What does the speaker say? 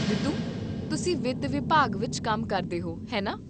ਰਿਤੂ, ਤੁਸੀਂ ਵਿੱਤ ਵਿਭਾਗ ਵਿੱਚ ਕੰਮ ਕਰਦੇ ਹੋ, ਹੈ ਨਾ?